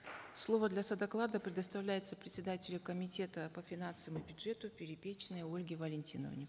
слово для содоклада предоставляется председателю комитета по финансам и бюджету перепечиной ольге валентиновне